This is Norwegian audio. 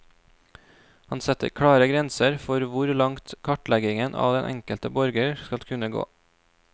Han setter klare grenser for hvor langt kartleggingen av den enkelte borger skal kunne gå.